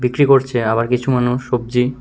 বিক্রি করছে আবার কিছু মানুষ সব্জি--